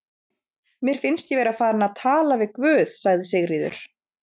Mér finnst ég vera farin að tala við guð, sagði Sigríður.